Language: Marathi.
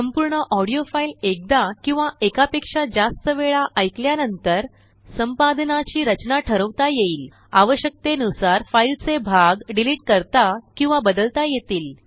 संपूर्ण ऑडीओफाईल एकदा किंवा एकापेक्षाजास्त वेळा ऐकल्या नंतर संपादनाची रचना ठरवता येईल आवश्यकतेनुसारफाईलचे भाग डिलीट करताकिंवा बदलता येतील